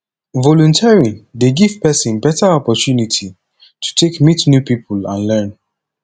volunteering dey giv pesin beta opportunity to take meet new pipo and learn